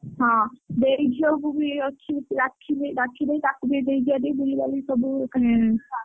ହଁ ଦେଇ ଝିଅକୁ ବି ଅଛି। ରାକ୍ଷୀ ଦେଇ ରାକ୍ଷୀ ଦେଇ ତାକୁ ବି ନେଇଯିବା ଟିକେ ବୁଲିବାଲିକି ସବୁ ।